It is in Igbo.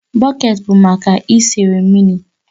Bọket bụ maka isere mmiri